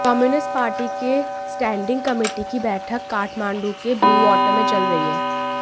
communist party के standing committee की बैठक काठमांडू के ब्लूवाटर में चल रही है